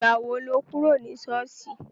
Ìgbà wo lo kúrò ní ṣọ́ọ̀ṣì?